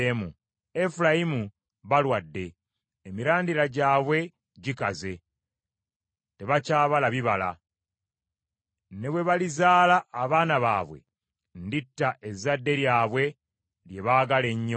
Efulayimu balwadde, emirandira gyabwe gikaze, tebakyabala bibala. Ne bwe balizaala abaana baabwe, nditta ezzadde lyabwe lye baagala ennyo.